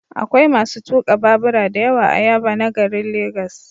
Akwai masu tuka babura da yawa a Yaba na garin Legas.